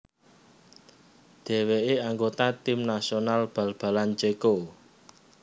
Dhèwèké anggota Tim nasional bal balan Céko